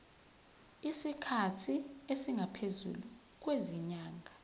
isikhathi esingaphezulu kwezinyanga